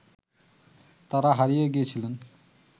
তারা হারিয়ে গিয়েছিলেন